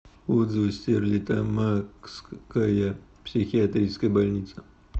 отзывы стерлитамакская психиатрическая больница